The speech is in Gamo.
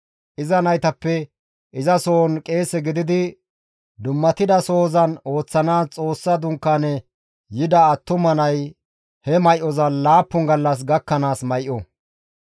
Iza naytappe izasohon qeese gididi dummatida sohozan ooththanaas Xoossa dunkaane yida attuma nay he may7oza laappun gallas gakkanaas may7o.